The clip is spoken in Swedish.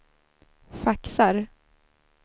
faxar